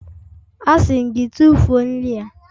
Asị m gị, tụfuo nri a!